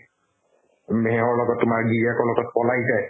উম, সেহৰ লগত তোমাৰ গিৰীয়েকৰ লগত পলাই যায়